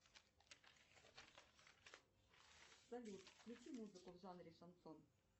салют включи музыку в жанре шансон